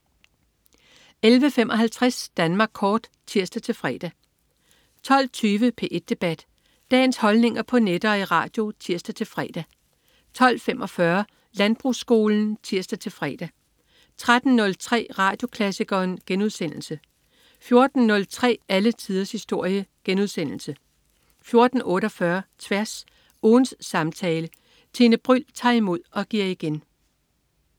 11.55 Danmark Kort (tirs-fre) 12.20 P1 Debat. Dagens holdninger på net og i radio (tirs-fre) 12.45 Landbrugsskolen (tirs-fre) 13.03 Radioklassikeren* 14.03 Alle tiders historie* 14.48 Tværs. Ugens samtale. Tine Bryld tager imod og giver igen